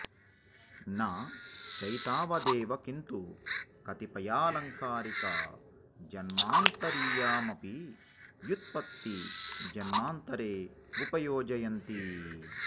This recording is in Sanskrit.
न चैतावदेव किन्तु कतिपयालङ्कारिका जन्मान्तरीया मपि व्युत्पत्ति जन्मान्तरे उपयोजयन्ति